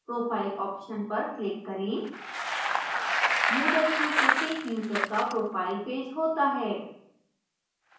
profile option पर click करें moodle में प्रत्येक यूजर का profile page होता है